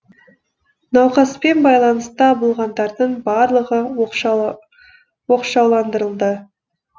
науқаспен байланыста болғандардың барлығы оқшауландырылды